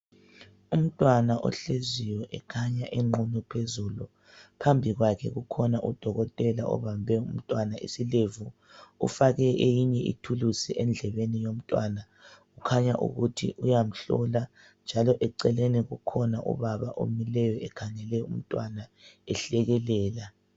Umntwana ohleziyo ekhanya enqunu phezulu, phambi kwakhe kukhona udokotela obambe umntwana isilevu. Ufake eyinye ithulusi endlebeni yomntwana . Kukhanya ukuthi uyamhlola njalo eceleni kukhona ubaba omileyo ekhangele umntwana, ehlekelela.